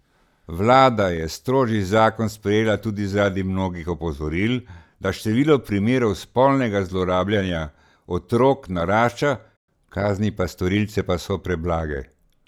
Vlada je strožji zakon sprejela tudi zaradi mnogih opozoril, da število primerov spolnega zlorabljanja otrok narašča, kazni pa storilce pa so preblage.